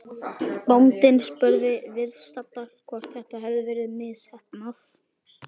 Bóndinn spurði viðstadda hvort þetta hefði verið misheppnað.